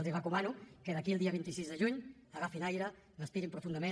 els recomano que d’aquí al dia vint sis de juny agafin aire respirin profundament